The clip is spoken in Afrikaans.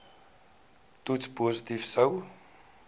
toets positief sou